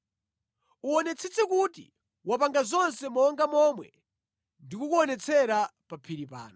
Uwonetsetse kuti wapanga zonse monga momwe ndikukuonetsera pa phiri pano.”